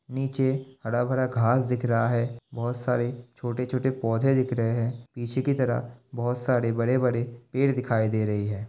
निचे हरा भरा घास दिख रहा है। बहोत सारे छोटे छोटे पौधे दिख रहे हैं। पीछे कि तरफ बहोत सारे बड़े बड़े पेड़ दिखाई दे रही है।